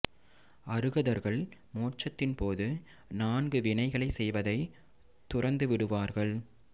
அருகதர்கள் மோட்சத்தின் போது நான்கு வினைகளை செய்வதை துறந்து விடுவார்கள்